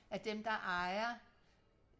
af dem der ejer